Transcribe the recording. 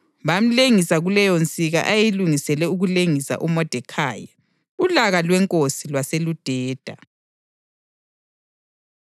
Bamlengisa kuleyonsika ayeyilungisele ukulengisa uModekhayi. Ulaka lwenkosi lwaseludeda.